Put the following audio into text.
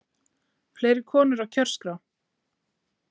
Fleiri konur á kjörskrá